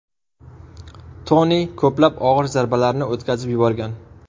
Toni ko‘plab og‘ir zarbalarni o‘tkazib yuborgan.